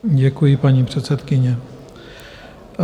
Děkuji, paní předsedkyně.